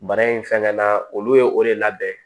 Bana in fɛngɛnna olu ye o de labɛn